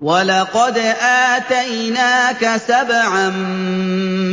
وَلَقَدْ آتَيْنَاكَ سَبْعًا